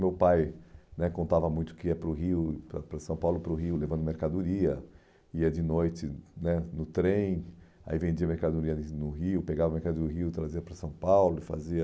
Meu pai né contava muito que ia para o Rio, para para São Paulo, para o Rio, levando mercadoria, ia de noite né no trem, aí vendia mercadorias no Rio, pegava mercadoria do Rio, trazia para São Paulo, fazia...